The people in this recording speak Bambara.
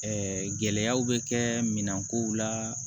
Ɛɛ gɛlɛyaw bɛ kɛ minɛn kow la